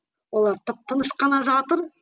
олар тып тыныш қана жатыр